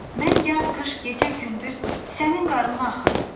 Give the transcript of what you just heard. Mən yaz-qış, gecə-gündüz sənin qarnına axıram.